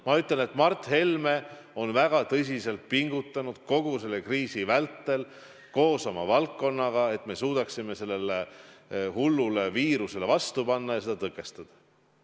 Ma ütlen, et Mart Helme on väga tõsiselt pingutanud kogu selle kriisi vältel koos oma alluvatega, et me suudaksime sellele hullule viirusele vastu panna ja seda tõkestada.